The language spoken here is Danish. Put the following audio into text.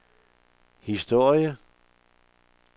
historier